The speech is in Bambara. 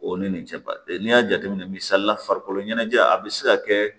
O ni nin cɛbaden n'i y'a jateminɛ misali la farikolo ɲɛnajɛ a bɛ se ka kɛ